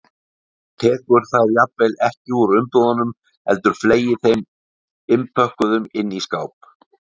Tekur þær jafnvel ekki úr umbúðunum heldur fleygir þeim innpökkuðum inn í skáp.